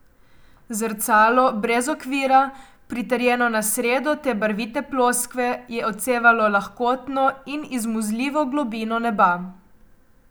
Zrcalo brez okvira, pritrjeno na sredo te barvite ploskve, je odsevalo lahkotno in izmuzljivo globino neba.